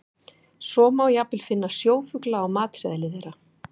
Svo má jafnvel finna sjófugla á matseðli þeirra.